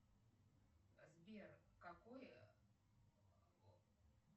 сбер какой